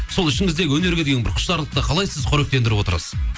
сол ішіңізде өнерге деген бір құштарлықты қалай сіз қоректендіріп отырасыз